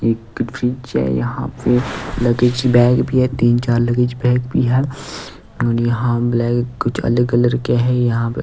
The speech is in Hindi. एक फ्रिज है यहां पे लगेज बैग भी है तीन चार लगेज बैग भी है और यहां ब्लैक कुछ अलग कलर के है यहाँ पे --